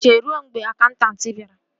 Ị ga-eche ruo mgbe akaụntanti bịara